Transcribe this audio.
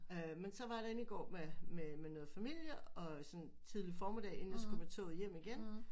Øh men så var jeg der inde i går med med med noget familie og sådan tidlig formiddag inden jeg skulle med toget hjem